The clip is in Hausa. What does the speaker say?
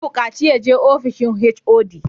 An bukaci ya je ofishin HOD!